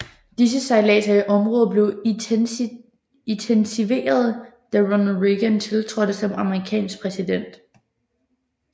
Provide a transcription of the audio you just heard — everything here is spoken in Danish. Disse sejlader i området blev intensiveret da Ronald Reagan tiltrådte som amerikansk præsident